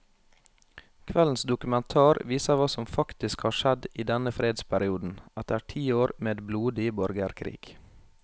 Kveldens dokumentar viser hva som faktisk har skjedd i denne fredsperioden, etter ti år med blodig borgerkrig.